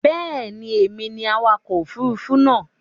Bẹ́ẹ̀ ni, èmi ni awakọ̀ òfurufú náà.